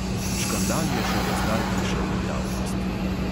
Škandal je šele zdaj prišel v javnost.